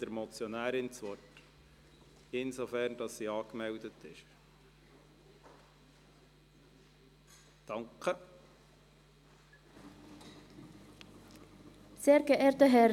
Ich gebe der Motionärin das Wort, sobald sie sich als Rednerin angemeldet hat.